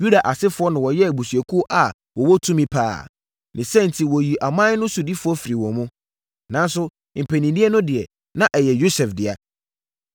Yuda asefoɔ na wɔyɛɛ abusuakuo a wɔwɔ tumi pa ara, ne saa enti wɔyii ɔman no sodifoɔ firi wɔn mu, nanso, mpaninnie no deɛ, na ɛyɛ Yosef dea.